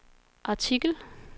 artikel